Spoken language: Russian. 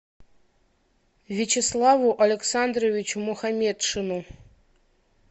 вячеславу александровичу мухаметшину